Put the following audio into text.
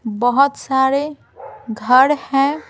बोहोत सारे घर हैं।